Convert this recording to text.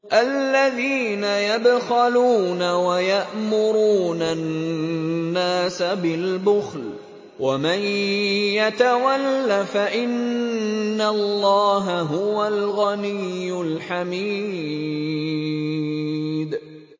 الَّذِينَ يَبْخَلُونَ وَيَأْمُرُونَ النَّاسَ بِالْبُخْلِ ۗ وَمَن يَتَوَلَّ فَإِنَّ اللَّهَ هُوَ الْغَنِيُّ الْحَمِيدُ